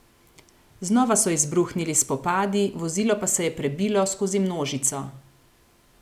Znova so izbruhnili spopadi, vozilo pa se je prebilo skozi množico.